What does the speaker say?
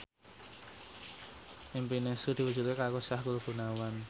impine Sri diwujudke karo Sahrul Gunawan